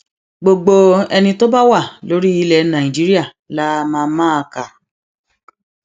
gbogbo ẹni tó bá wà lórí ilẹ nàìjíríà la máa máa kà